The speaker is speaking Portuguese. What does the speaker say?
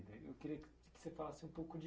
Eu queria que, que você falasse um pouco de